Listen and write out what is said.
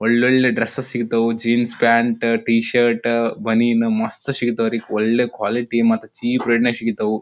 ಒಳ್ಳೊಳ್ಳೆ ಡ್ರೆಸ್ ಸಿಗ್ತವು jeans pant T shirt ಬನಿಯನ್ ಮಸ್ತ್ ಸಿಗತವು ರೀ ಒಳ್ಳೆ ಕ್ವಾಲಿಟಿ ಮತ್ತ ಚೀಪ್ ರೇಟ್ ನ್ಯಾಗ್ ಸಿಗ್ತವು.